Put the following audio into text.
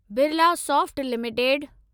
Birlasoft limited